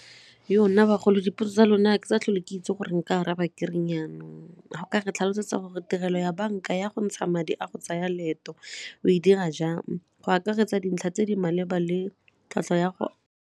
Nna, bagolo dipotso tsa lona ga ke sa tlhole ke itse gore nka araba ke reng jaanong. Ga o ka re tlhalosetsa gore tirelo ya banka ya go ntsha madi a go tsaya leeto o e dira jang go akaretsa dintlha tse di maleba le tlhwatlhwa ya go.